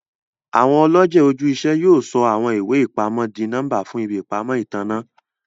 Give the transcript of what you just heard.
Awọn ọlọjẹ oju-iṣẹ yóò sọ awọn iwe-ipamọ dì nọmba fún ìbí ìpamọ́ ìtanná.